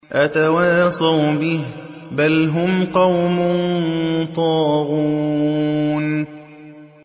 أَتَوَاصَوْا بِهِ ۚ بَلْ هُمْ قَوْمٌ طَاغُونَ